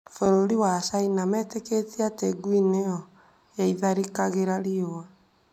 Bũrũri wa Caina metĩkĩtie atĩ ngui nĩyo ya ĩtharĩkagĩra riũa.